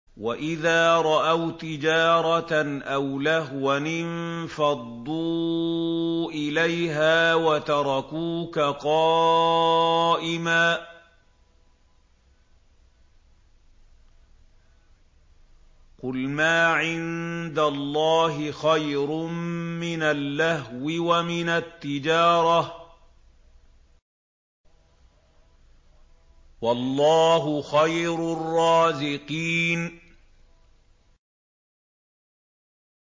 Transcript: وَإِذَا رَأَوْا تِجَارَةً أَوْ لَهْوًا انفَضُّوا إِلَيْهَا وَتَرَكُوكَ قَائِمًا ۚ قُلْ مَا عِندَ اللَّهِ خَيْرٌ مِّنَ اللَّهْوِ وَمِنَ التِّجَارَةِ ۚ وَاللَّهُ خَيْرُ الرَّازِقِينَ